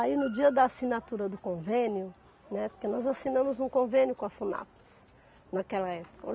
Aí no dia da assinatura do convênio, né, porque nós assinamos um convênio com a Funapes naquela época.